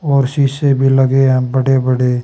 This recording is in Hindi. और शीशे भी लगे हैं बड़े बड़े--